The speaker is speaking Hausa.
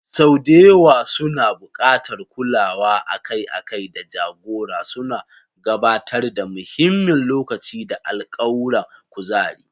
Sau da yawa suna buƙatar kulawa akai-akai da jagora, suna gabatar da muhimmin lokaci da alkawuran kuzari.